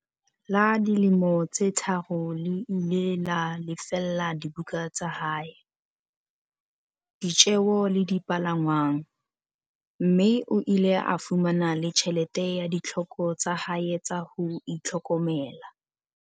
la dilemo tse tharo le ile la lefella dibuka tsa hae, ditjeo le dipalangwang, mme o ile a fumana le tjhelete ya ditlhoko tsa hae tsa ho itlhokomela.